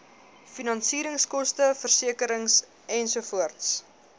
finansieringskoste versekering ensovoorts